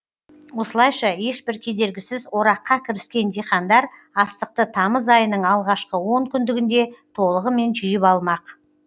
осылайша ешбір кедергісіз ораққа кіріскен диқандар астықты тамыз айының алғашқы онкүндігінде толығымен жиып алмақ